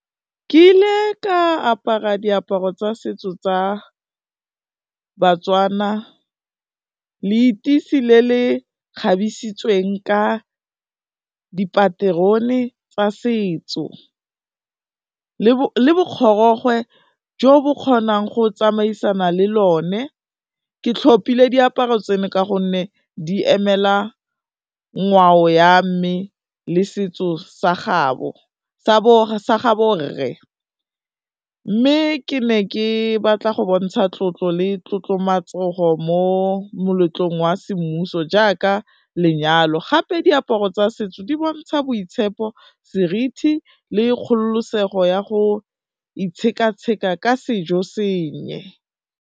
Ke ile ka apara diaparo tsa setso tsa Batswana, leteisi le le kgabisitsweng ka dipaterone tsa setso le bokgorogwe jo bo kgonang go tsamaisana le lone, ke tlhopile diaparo tseno ka gonne di emela ngwao ya mme le setso sa gabo rre, mme ke ne ke batla go bontsha tlotlo le tlotlomatsego mo moletlong wa semmuso jaaka lenyalo, gape diaparo tsa setso di bontsha boitshepo, seriti le kgololosego ya go itsheka-tsheka ka sejo senye.